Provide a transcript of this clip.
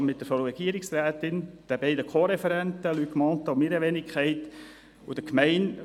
Anwesend war die Frau Regierungsrätin, die beiden CoReferenten, also Luc Mentha und meine Wenigkeit, und die Gemeinde.